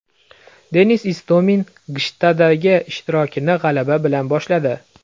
Denis Istomin Gshtaddagi ishtirokini g‘alaba bilan boshladi.